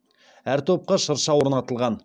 әр топқа шырша орнатылған